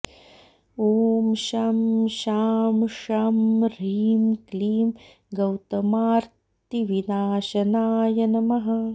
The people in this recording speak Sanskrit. ॐ शं शां षं ह्रीं क्लीं गौतमार्त्तिविनाशनाय नमः